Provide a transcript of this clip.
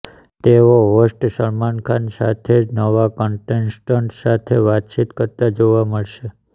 તેઓ હોસ્ટ સલમાન ખાન સાથે જ નવા કંટેસ્ટન્ટ સાથે વાતચીત કરતા જોવા મળશે